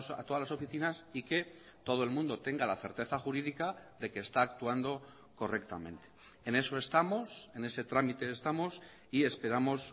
a todas las oficinas y que todo el mundo tenga la certeza jurídica de que está actuando correctamente en eso estamos en ese trámite estamos y esperamos